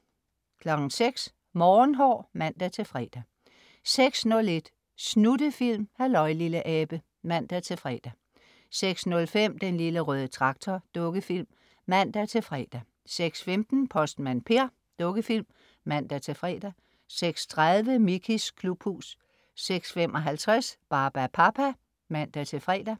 06.00 Morgenhår (man-fre) 06.01 Snuttefilm. Halløj, lille abe (man-fre) 06.05 Den Lille Røde Traktor. Dukkefilm (man-fre) 06.15 Postmand Per. Dukkefilm (man-fre) 06.30 Mickeys klubhus 06.55 Barbapapa (man-fre)